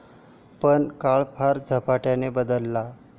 पण, काळ फार झपाट्याने बदलला.